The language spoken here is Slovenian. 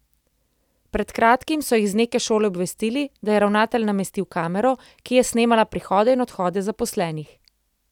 Pred kratkim so jih z neke šole obvestili, da je ravnatelj namestil kamero, ki je snemala prihode in odhode zaposlenih.